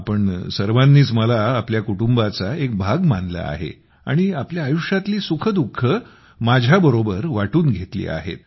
आपण सर्वांनीच मला आपल्या कुटुंबाचा एक भाग मानले आहे आणि आपल्या आयुष्यातली सुखदुःखे माझ्यासोबत वाटून घेतली आहेत